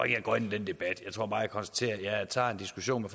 jeg går ind i den debat jeg tror bare jeg konstaterer at jeg tager en diskussion